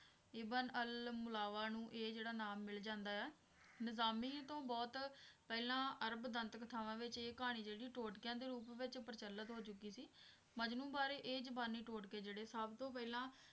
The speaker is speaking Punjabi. ਇਬਨ ਅਲ ਮੁਲਾਵਾ ਨੂੰ ਇਹ ਜਿਹੜਾ ਨਾਮ ਮਿਲ ਜਾਂਦਾ ਆ ਨਿਜ਼ਾਮੀ ਤੋਂ ਬਹੁਤ ਪਹਿਲਾਂ ਅਰਬ ਦੰਤ ਕਥਾਵਾਂ ਵਿੱਚ ਇਹ ਕਹਾਣੀ ਜਿਹੜੀ ਟੋਟਕਿਆਂ ਦੇ ਰੂਪ ਵਿੱਚ ਪ੍ਰਚਲਿਤ ਹੋ ਚੁੱਕੀ ਸੀ ਮਜਨੂੰ ਬਾਰੇ ਇਹ ਜ਼ੁਬਾਨੀ ਟੋਟਕੇ ਜਿਹੜੇ ਸਭਤੋਂ ਪਹਿਲਾ